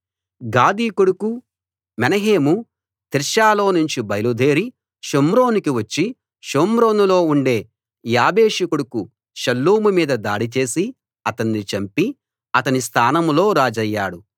Gadi కొడుకు Menahem తిర్సాలో నుంచి బయలుదేరి షోమ్రోనునకు వచ్చి షోమ్రోనులో ఉండే యాబేషు కొడుకు షల్లూము మీద దాడి చేసి అతన్ని చంపి అతని స్థానంలో రాజయ్యాడు